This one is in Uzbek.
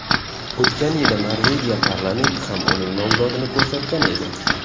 O‘tgan yili Norvegiya parlamenti ham uning nomzodini ko‘rsatgan edi.